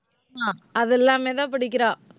அஹ் அது எல்லாமேதான் படிக்கிறா